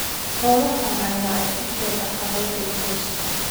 Xoolahan ayaa ah isha dhaqaale ee qoyska.